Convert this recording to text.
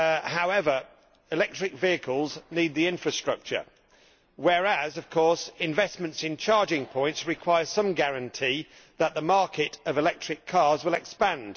However, electric vehicles need the infrastructure whereas, of course, investment in charging points requires some guarantee that the market of electric cars will expand.